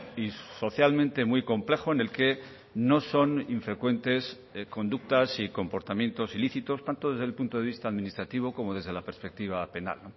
y socialmente muy complejo en el que no son infrecuentes conductas y comportamientos ilícitos tanto desde el punto de vista administrativo como desde la perspectiva penal